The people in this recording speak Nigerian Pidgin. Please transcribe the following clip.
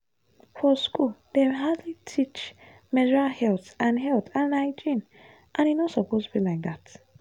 for school dem hardly teach menstrual health and health and hygiene and e no suppose be like that.